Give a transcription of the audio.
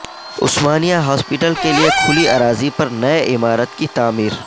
عثمانیہ hospital کیلئے کھلی اراضی پر نئی عمارت کی تعمیر